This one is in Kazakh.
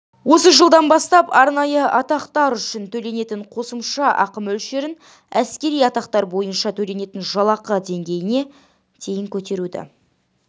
осы жылдан бастап арнайы атақтар үшін төленетін қосымша ақы мөлшерін әскери атақтар бойынша төленетін жалақы деңгейіне дейін көтеруді